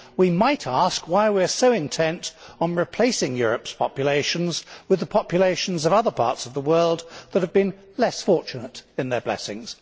We might ask why we are so intent on replacing Europe's populations with the populations of other parts of the world that have been less fortunate in their blessings.